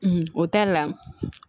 o ta la